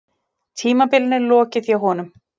Tímabilinu lokið hjá honum